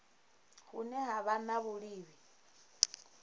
hune ha vha na vhuiivhi